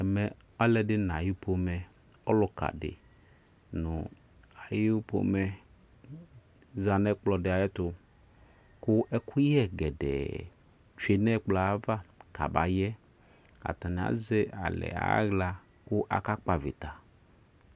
ɛmɛ alɛdini na ayi pomɛ ɔlɔkadi nu ayipomɛ zanu ɛkplɔ dia ayɛtu ku ɛkuyɛ kɛdɛ twenɛ ɛkplɔ ava kabayɛ atana azɛ alɛ ala ku aka kpɔ avita